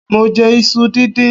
mọ jẹ isú díndín